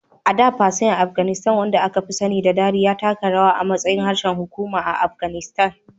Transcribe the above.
A da, Persian Afganistan, wanda aka fi sani da Dari, ya taka rawa a matsayin harshen hukuma a Afghanistan.